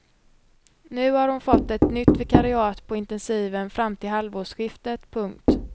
Nu har hon fått ett nytt vikariat på intensiven fram till halvårsskiftet. punkt